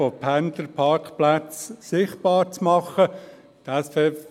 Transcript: Es sollen Pendlerparkplätze sichtbar gemacht werden.